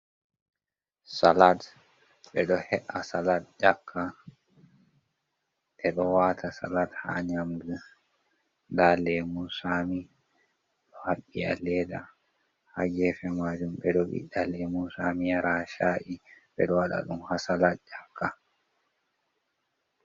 Salad: Ɓe ɗo he’a salad yakka, ɓe ɗo wata salad ha nyamdu. Nda lemun tsami ɗo haɓɓi ha leda ha gefe majum. Ɓeɗo ɓiɗɗa lemun tsami yara ha sha’i, ɓeɗo waɗa ɗum ha salad ƴakka.